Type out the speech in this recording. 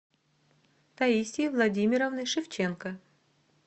таисии владимировны шевченко